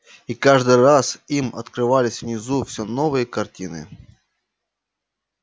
и каждый раз им открывались внизу все новые картины